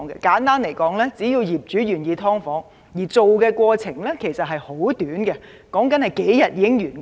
簡單而言，只要業主願意建造"劏房"，建造過程其實是很短的，只需數天便可完工。